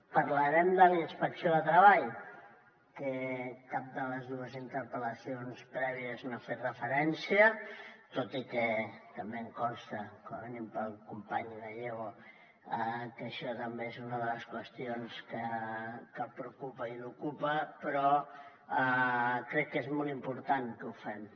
parlarem de la inspecció de treball que cap de les dues interpel·lacions prèvies no hi ha fet referència tot i que també em consta com a mínim pel company gallego que això també és una de les qüestions que el preocupa i l’ocupa però crec que és molt important que ho fem